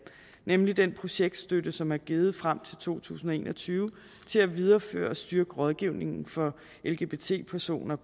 nemlig den projektstøtte som er givet frem til to tusind og en og tyve til at videreføre og styrke rådgivningen for lgbt personer